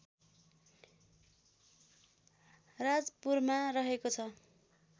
राजपुरमा रहेको छ